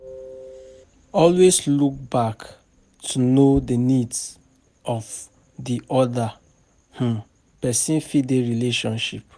Always look back to know di needs of di oda um person for di relationship